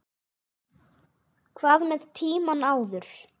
Hvað með tímann áður?